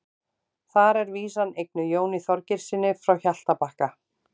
Þar er vísan eignuð Jóni Þorgeirssyni frá Hjaltabakka.